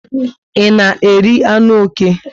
I na eri anụ oké?